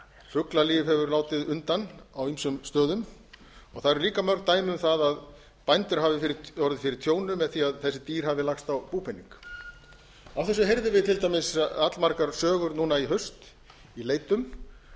fuglalíf hefur látið undan á ýmsum stöðum og það eru líka mörg dæmi um það að bændur hafi orðið fyrir tjóni með því að þessi dýr hafi lagst á búpening af þessu heyrðum við til dæmis allmargar sögur núna í haust í leitum að